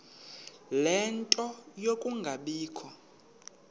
ie nto yokungabikho